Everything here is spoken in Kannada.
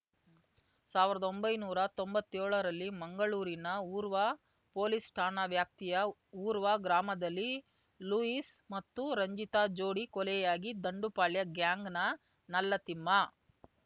ಸಾವಿರ್ದೊಂಬೈ ನೂರಾ ತೊಂಬತ್ತೇಳರಲ್ಲಿ ಮಂಗಳೂರಿನ ಉರ್ವ ಪೊಲೀಸ್‌ ಠಾಣಾ ವ್ಯಾಪ್ತಿಯ ಉರ್ವ ಗ್ರಾಮದಲ್ಲಿ ಲೂಯಿಸ್‌ ಮತ್ತು ರಂಜಿತಾ ಜೋಡಿ ಕೊಲೆಯಾಗಿ ದಂಡುಪಾಳ್ಯ ಗ್ಯಾಂಗ್‌ನ ನಲ್ಲತಿಮ್ಮ